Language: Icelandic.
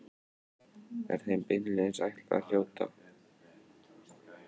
Er þeim beinlínis ætlað að hljóta sama sess og Nóbelsverðlaunin.